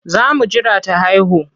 Za mu jira ta haihu.